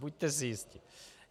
Buďte si jisti.